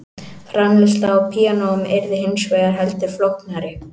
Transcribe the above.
Framleiðsla á píanóum yrði hins vegar heldur flóknari.